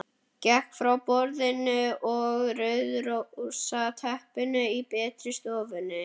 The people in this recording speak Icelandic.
Gekk frá borðinu að rauðrósótta teppinu í betri stofunni.